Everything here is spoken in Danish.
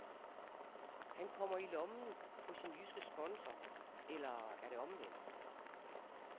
Han kommer i lommen på sin jyske sponsor eller er det omvendt?